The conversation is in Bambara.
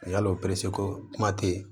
Yalo pereseko kuma tɛ yen